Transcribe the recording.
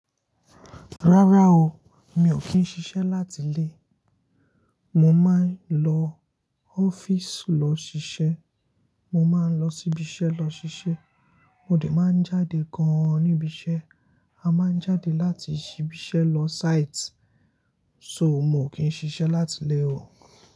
Rárá o, mi ò kí ń ṣiṣẹ́ láti ilé. Mo máa ń lọ ọ́fíìsì lọ ṣiṣẹ́, mo máa ń lọ síbi iṣẹ́ lọ ṣiṣẹ́, mo dẹ̀ máa ń jáde gan-an níbi iṣẹ́. A máa ń jáde láti ibi iṣẹ́ lọ site. So mo ò kí ń ṣiṣẹ́ láti ilé o.